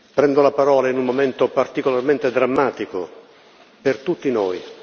Prendo la parola in un momento particolarmente drammatico per tutti noi.